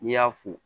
N'i y'a fo